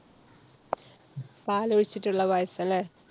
പാല് ഒഴിച്ചിട്ട്ള്ള പായസം ല്ലെ?